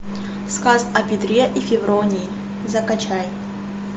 сказ о петре и февронии закачай